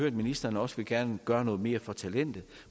at ministeren også gerne vil gøre noget mere for talentet